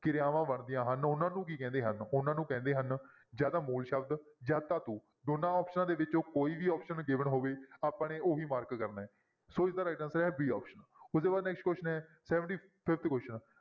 ਕਿਰਆਵਾਂ ਬਣਦੀਆਂ ਹਨ ਉਹਨਾਂ ਨੂੰ ਕੀ ਕਹਿੰਦੇ ਹਨ ਉਹਨਾਂ ਨੂੰ ਕਹਿੰਦੇ ਹਨ ਜਾਂ ਤਾਂ ਮੂਲ ਸ਼ਬਦ ਜਾਂ ਧਾਤੂ ਦੋਨਾਂ ਆਪਸਨਾਂ ਦੇ ਵਿੱਚੋਂ ਕੋਈ ਵੀ option given ਹੋਵੇ ਆਪਾਂ ਨੇ ਉਹੀ mark ਕਰਨਾ ਹੈ ਸੋ ਇਸਦਾ right answer ਹੈ b option ਉਹਦੇ ਬਾਅਦ next question ਹੈ Seventy-Fifth question